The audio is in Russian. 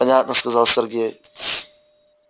понятно сказал сергей